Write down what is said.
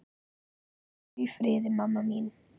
Hvíldu í friði, mamma mín.